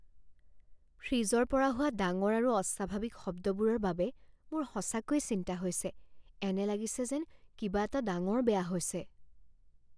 ফ্ৰিজৰ পৰা হোৱা ডাঙৰ আৰু অস্বাভাৱিক শব্দবোৰৰ বাবে মোৰ সঁচাকৈয়ে চিন্তা হৈছে, এনে লাগিছে যেন কিবা এটা ডাঙৰ বেয়া হৈছে।